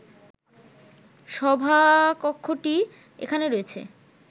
সভাকক্ষটি এখানে রয়েছে